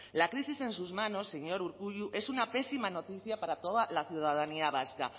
la crisis en sus manos señor urkullu es una pésima noticia para toda la ciudadanía vasca